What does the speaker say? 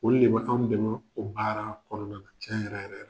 O de anw de ma o baara kɔnɔna ca yɛrɛ yɛrɛ la.